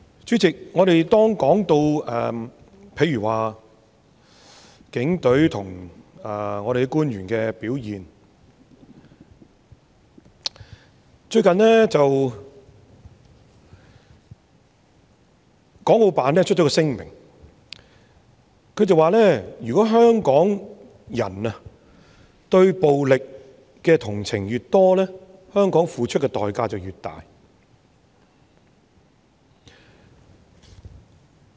主席，我們說到警隊和官員的表現，國務院港澳事務辦公室最近發表了一份聲明，說如果香港人對暴力的同情越多，香港付出的代價便越大。